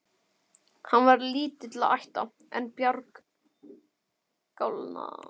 Hann var lítilla ætta, en bjargálna.